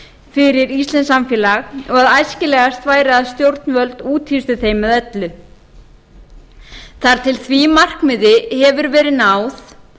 fyrir íslenskt samfélag og æskilegast væri að stjórnvöld úthýstu þeim með öllu þar til því markmiði hefur verið náð